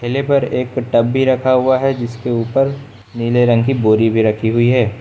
ठेले पर एक टब भी रखा हुआ है जिसके ऊपर नीले रंग की बोरी भी रखी हुई है।